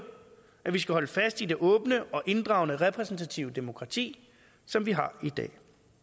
at vi skal holde fast i det åbne og inddragende repræsentative demokrati som vi har i dag